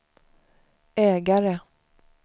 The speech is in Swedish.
ägare